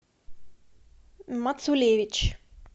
мацулевич